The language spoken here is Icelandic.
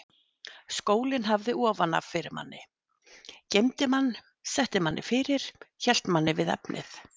Skólinn hafði ofan af fyrir manni, geymdi mann, setti manni fyrir, hélt manni við efnið.